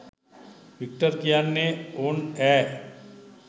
Victor කියන්නේ ඕන් ඈ